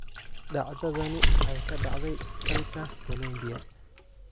Dhacdadani waxay ka dhacday dalka Colombia.